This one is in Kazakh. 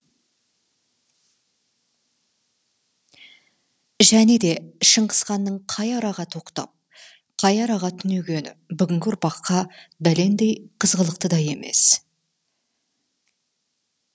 және де шыңғыс ханның қай араға тоқтап қай араға түнегені бүгінгі ұрпаққа бәлендей қызғылықты да емес